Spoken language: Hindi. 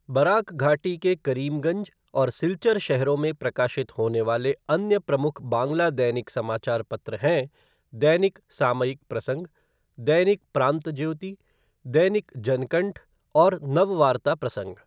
बराक घाटी के करीमगंज और सिलचर शहरों में प्रकाशित होने वाले अन्य प्रमुख बांग्ला दैनिक समाचार पत्र हैं दैनिक सामयिक प्रसंग, दैनिक प्रांतज्योति, दैनिक जनकंठ और नववार्ता प्रसंग।